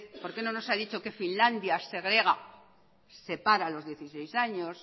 por qué no nos ha dicho usted que finlandia separa a los dieciséis años